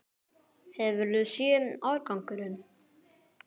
Hefurðu séð árangurinn?